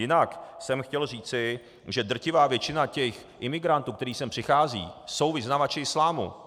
Jinak jsem chtěl říci, že drtivá většina těch imigrantů, kteří sem přicházejí, jsou vyznavači islámu.